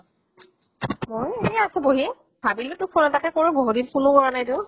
মই এনেই আছো বহি । ভাবিলো তোক phone এটাকে কৰো, বহুত দিন phone ও কৰা নাই তো